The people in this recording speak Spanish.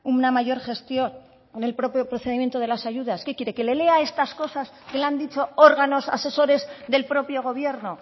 una mayor gestión en el propio procedimiento de las ayudas qué quiere que le lea estas cosas que le han dicho órganos asesores del propio gobierno